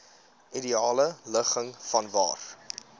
ideale ligging vanwaar